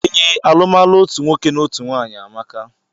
Ee, alumalu otú nwoke na ọtụtụ nwanyị amaka